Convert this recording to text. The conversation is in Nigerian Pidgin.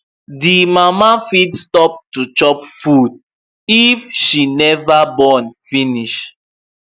the mama fit stop to chop food if she never born finish